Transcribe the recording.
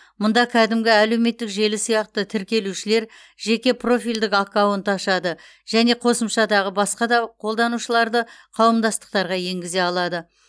мұнда кәдімгі әлеуметтік желі сияқты тіркелушілер жеке профильдік аккаунт ашады және қосымшадағы басқа да қолданушыларды қауымдастықтарға енгізе алады